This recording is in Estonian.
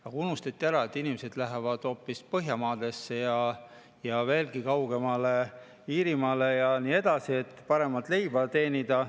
Aga unustati ära, et inimesed lähevad hoopis Põhjamaadesse ja veelgi kaugemale, Iirimaale ja nii edasi, et paremat leiba teenida.